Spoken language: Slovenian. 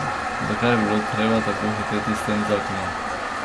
Zakaj je bilo treba tako hiteti s tem zakonom?